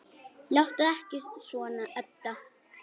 Láttu ekki svona, Edda.